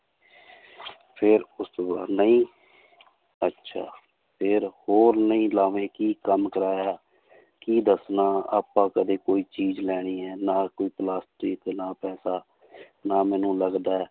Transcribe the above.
ਫਿਰ ਪੁੱਛੇਗਾ ਨਹੀਂ ਅੱਛਾ ਫਿਰ ਹੋਰ ਨਹੀਂ ਲਾਵੇਂ ਕੀ ਕੰਮ ਕਰਾਇਆ ਕੀ ਦੱਸਣਾ ਆਪਾਂ ਕਦੇ ਕੋਈ ਚੀਜ਼ ਲੈਣੀ ਹੈ ਨਾ ਕੋਈ ਪਲਾਸਟਿਕ ਨਾ ਪੈਸਾ ਨਾ ਮੈਨੂੰ ਲੱਗਦਾ ਹੈ